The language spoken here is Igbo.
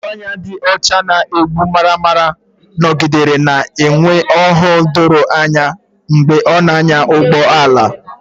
Ugogbe anya dị ọcha ma na-egbu maramara nọgidere na-enwe ọhụụ doro anya mgbe ị na-anya ụgbọ ala.